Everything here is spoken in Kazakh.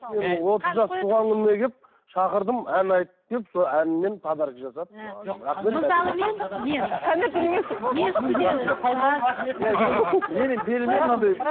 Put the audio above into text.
шақырдым ән айтып келіп сол әнімен подарка жасады